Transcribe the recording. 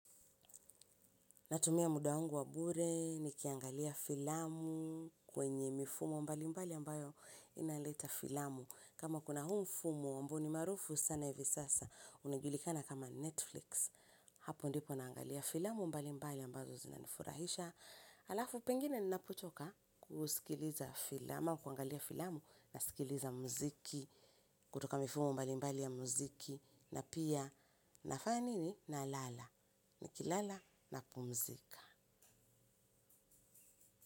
Natumia muda wangu wa bure nikiangalia filamu kwenye mifumo mbalimbali ambayo inaleta filamu. Kama kuna huu mfumo ambao ni maarufu sana hivi sasa unajulikana kama Netflix. Hapo ndipo naangalia filamu mbalimbali ambazo zinanifurahisha. Alafu pengine ninapochoka mi husikiliza filamu ama kuangalia filamu nasikiliza mziki. Kutoka mifumo mbalimbali ya muziki. Na pia nafanya nini, nalala. Nikilala napumzika.